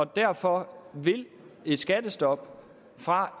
derfor vil et skattestop fra